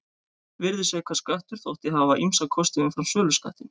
Virðisaukaskattur þótti hafa ýmsa kosti umfram söluskattinn.